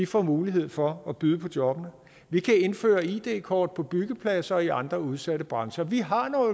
får mulighed for at byde på jobbene vi kan indføre id kort på byggepladser og i andre udsatte brancher vi har